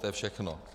To je všechno.